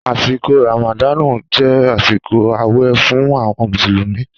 Àsíkò ràmàdànú jẹ àsíkò àwẹ fún awon músùlúmi